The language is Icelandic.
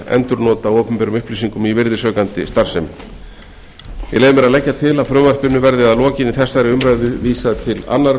af opinberum upplýsingum í virðisaukandi starfsemi ég leyfi mér að leggja til að frumvarpinu verði að lokinni þessar umræðu vísað til annarrar